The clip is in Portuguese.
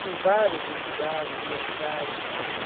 com várias entidades, universidades.